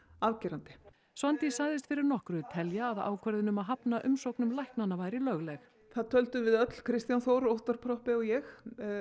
afgerandi Svandís sagðist fyrir nokkru telja að ákvörðun um að hafna umsóknum læknanna væri lögleg það töldum við öll Kristján Þór Óttarr Proppé og ég